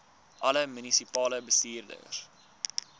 alle munisipale bestuurders